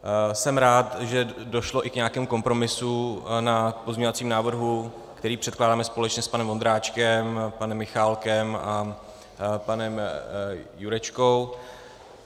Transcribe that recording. Jsem rád, že došlo i k nějakému kompromisu na pozměňovacím návrhu, který předkládáme společně s panem Vondráčkem, panem Michálkem a panem Jurečkou.